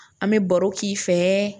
An bɛ baro k'i fɛ